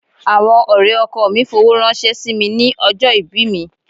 Àwọn ọ̀rẹ́ ọkọọ̀ mi fowó ránṣẹ́ sí mi ní ọjọ́ ìbí mi.